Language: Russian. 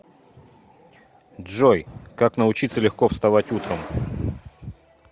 джой как научиться легко вставать утром